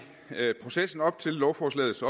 processen op til lovforslagets